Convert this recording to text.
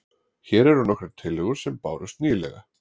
Hér eru nokkrar tillögur sem bárust nýlega.